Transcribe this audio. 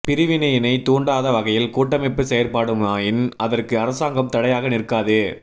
பிரிவினையினை தூண்டாத வகையில் கூட்டமைப்பு செயற்படுமாயின் அதற்கு அரசாங்கம் தடையாக நிற்காது